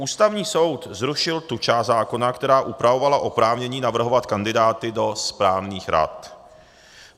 Ústavní soud zrušil tu část zákona, která upravovala oprávnění navrhovat kandidáty do správních rad.